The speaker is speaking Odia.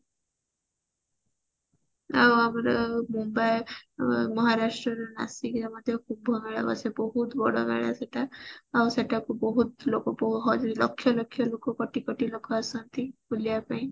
ମହାରାଷ୍ଟ୍ର ର ନାସିକ ରେ ମଧ୍ୟ କୁମ୍ଭ ମେଳା ବସେ ବହୁତ ବଡ ମେଳା ସେଟା ଆଉ ସେଠାକୁ କୁ ବହୁତ ଲୋକ ଲକ୍ଷ୍ୟ ଲକ୍ଷ୍ୟ ଲୋକ କୋଟି କୋଟି ଲୋକ ଆସନ୍ତି ବୁଲିବା ପାଇଁ